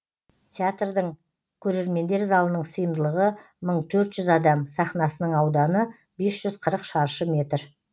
театрдың көрермендер залының сыйымдылығы мың төрт жүз адам сахнасының ауданы бес жүз қырық шаршы метр